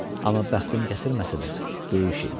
Amma bəxtim gətirməsə də, böyük şeydir.